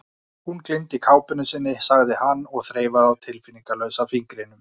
Hún gleymdi kápunni sinni, sagði hann og þreifaði á tilfinningalausa fingrinum.